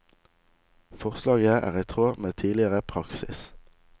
Forslaget er i tråd med tidligere praksis.